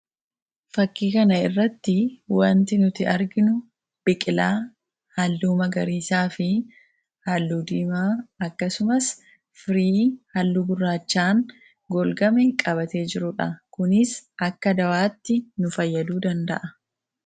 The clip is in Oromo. Fakkii kana irratti waanti nuti arginu biqilaa halluu magariisaa fi halluu diimaa akkasumas firii halluu gurraachaan golgame qabatee jirudha. Kunis akka dawaatti nu fayyaduu danda'a.